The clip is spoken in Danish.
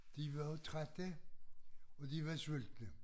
De var også trætte og de var sultne